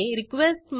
ह्या मेथडवर जाऊ